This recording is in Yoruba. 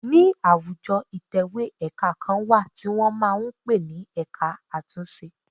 Ní àwùjọ ìtẹ̀wẹ́ ẹ̀ka kan wà tí wọn máa ń pe ní ẹ̀ka àtúnṣe.